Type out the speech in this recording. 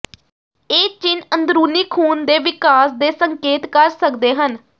ਇਹ ਚਿੰਨ੍ਹ ਅੰਦਰੂਨੀ ਖੂਨ ਦੇ ਵਿਕਾਸ ਦੇ ਸੰਕੇਤ ਕਰ ਸਕਦੇ ਹਨ